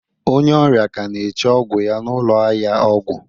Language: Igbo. Onye ọrịa ka na-eche ọgwụ ya n'ụlọ ahịa ọgwụ